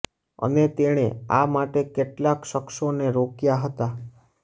અને તેણે આ માટે કેટલાંક શખ્સોને રોક્યાં હતાં